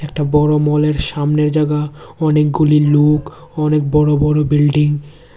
একটা বড় মলের সামনের জাগা অনেকগুলি লোক অনেক বড় বড় বিল্ডিং ।